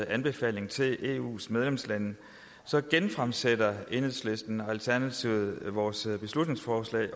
anbefaling til eus medlemslande så genfremsætter enhedslisten og alternativet vores beslutningsforslag